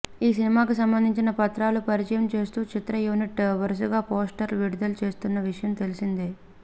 ఈ సినిమాకి సంబందించిన పత్రాలను పరిచయం చేస్తో చిత్ర యూనిట్ వరుసగా పోస్టర్స్ విడుదల చేస్తున్న విషయం తెలిసిందే